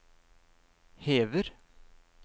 hever